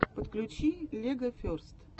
подключи легоферст